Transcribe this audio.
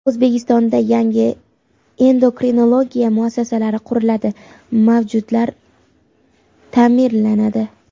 O‘zbekistonda yangi endokrinologiya muassasalari quriladi, mavjudlari ta’mirlanadi.